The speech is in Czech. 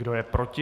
Kdo je proti?